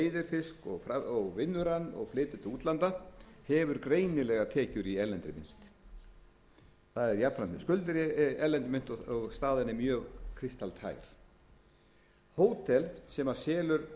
fisk og vinnur hann og flytur til útlanda hefur greinilega tekjur í erlendri mynt það er jafnframt með skuldir í erlendri mynt og staðan er mjög kristaltær hótel sem selur